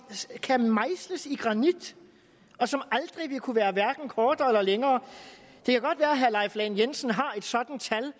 kan mejsles i granit og som aldrig vil kunne være hverken kortere eller længere det kan godt være at herre leif lahn jensen har et sådant tal